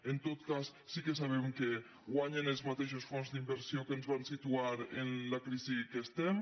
en tot cas sí que sabem que guanyen els mateixos fons d’inversió que ens van situar en la crisi en què estem